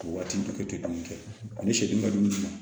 Waati bɛɛ tɛ dumuni kɛ ani sariya dumuni na